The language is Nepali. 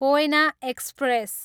कोयना एक्सप्रेस